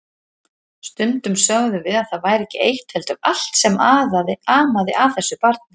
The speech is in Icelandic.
Stundum sögðum við að það væri ekki eitt heldur allt sem amaði að þessu barni.